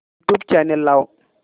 YouTube channel लाव